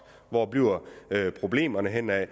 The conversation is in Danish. hvor bliver der problemer hvad med